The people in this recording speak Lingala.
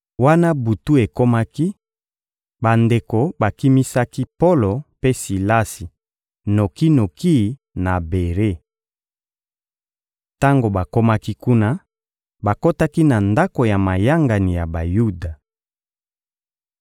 Wana butu ekomaki, bandeko bakimisaki Polo mpe Silasi noki-noki na Bere. Tango bakomaki kuna, bakotaki na ndako ya mayangani ya Bayuda.